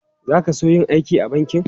Za ka so yin aiki a banki?